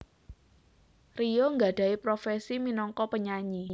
Rio nggadhahi profesi minangka penyanyi